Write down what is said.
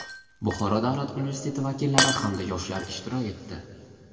Buxoro davlat universiteti vakillari hamda yoshlar ishtirok etdi.